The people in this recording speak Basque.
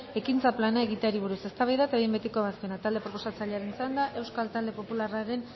ekintza plana egiteari buruz eztabaida eta behin betiko ebazpena talde proposatzailearen txanda euskal talde popularraren